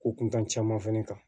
Ko kuntan caman fɛnɛ kan